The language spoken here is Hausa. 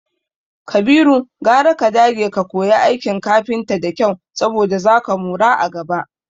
Kabiru, gwara ka dage ka koya aikin kafinta da kyau saboda zaka mora a gaba.